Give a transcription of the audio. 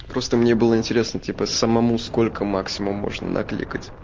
просто мне было интересно типо самому сколько максимум можно накликать